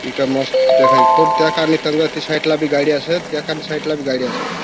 इका मस्त देखाय खूब त्या काना साईट बी गाड़ी असत त्याका साईट ला बी गाडी असत.